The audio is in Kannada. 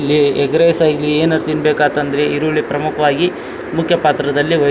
ಇಲ್ಲಿ ಎಗ್ಗ್ರಿಸ ಇಲ್ಲಿ ಏನೇ ತಿನ್ಬೇಕತದ್ರು ಈರುಳ್ಳಿ ಪ್ರಮುಖವಾಗಿ ಮುಖ್ಯ ಪಾತ್ರದಲ್ಲಿ ವಹಿ --